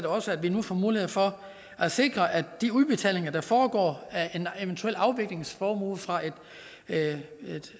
også at vi nu får mulighed for at sikre at de udbetalinger der foregår af en eventuel afviklingsformue fra et